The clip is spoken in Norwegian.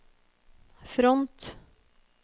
front